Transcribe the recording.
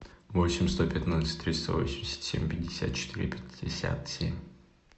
восемь сто пятнадцать триста восемьдесят семь пятьдесят четыре пятьдесят семь